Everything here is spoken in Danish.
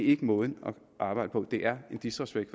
ikke måden at arbejde på det er en disrespekt